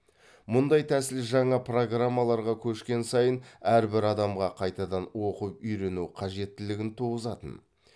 мұндай тәсіл жаңа программаларға көшкен сайын әрбір адамға қайтадан оқып үйрену қажеттілігін туғызатын